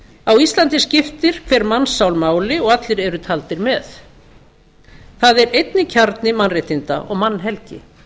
á íslandi skiptir hver mannssál máli og allir eru taldir með það er einnig kjarni mannréttinda og mannhelgi